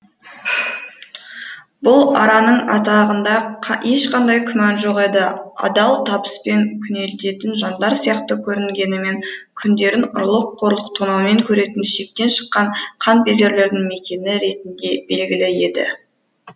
бұл араның атағында ешқандай күмән жоқ еді адал табыспен күнелтетін жандар сияқты көрінгенімен күндерін ұрлық қорлық тонаумен көретін шектен шыққан қанпезерлердің мекені ретінде белгілі еді